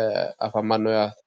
ee afamanno yaate.